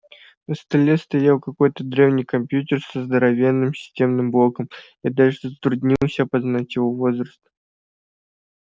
на столе стоял какой-то древний компьютер со здоровенным системным блоком я даже затруднился опознать его возраст